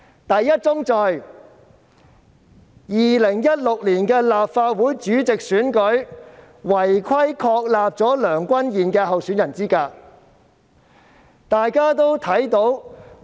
第一宗罪 ，2016 年立法會主席選舉違規確立梁君彥的候選人資格。